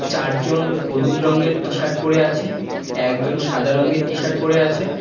চারজন হলুদ রঙ্গের টি-শার্ট পরে আছে একজন সাদা রঙ্গের টি-শার্ট পরে আছে।